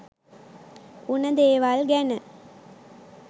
උන දේවල් ගැන